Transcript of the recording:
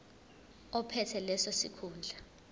ophethe leso sikhundla